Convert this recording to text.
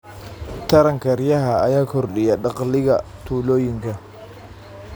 Taranka riyaha ayaa kordhiya dakhliga tuulooyinka.